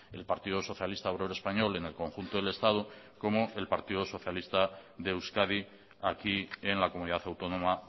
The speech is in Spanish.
el partido socialista obrero español en el conjunto del estado como el partido socialista de euskadi aquí en la comunidad autónoma